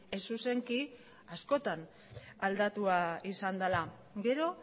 ez zuzenki askotan aldatua izan dela gero